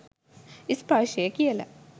ස්පර්ශය කියල.